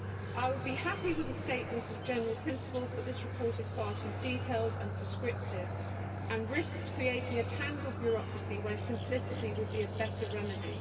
I would be happy with a statement of general principles, but this report is far too detailed and prescriptive and risks creating a tangled bureaucracy where simplicity would be a better remedy.